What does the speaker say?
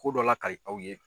Ko dɔ lakali aw ye.